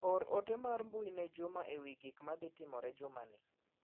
Or ote mar mbui ne Juma ewi gik ma dhi timore juma ni.